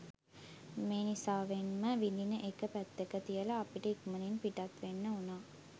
මෙනිසාවෙන්ම විඳින එක පැත්තක තියලා අපිට ඉක්මනින්ම පිටත් වෙන්න වුණා.